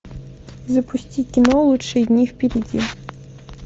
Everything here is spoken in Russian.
запусти кино лучшие дни впереди